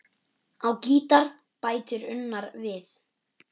Á gítar bætir Unnar við.